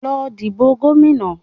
Lọ dìbò gómìnà